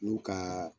N'u ka